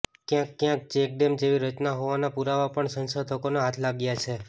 ક્યાંક ક્યાંક ચેકડેમ જેવી રચના હોવાના પુરાવા પણ સંશોધકોને હાથ લાગ્યા છે